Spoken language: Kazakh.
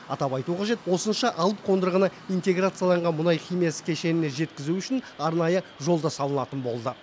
атап айту қажет осынша алып қондырғыны интеграцияланған мұнай химиясы кешеніне жеткізу үшін арнайы жол да салынатын болды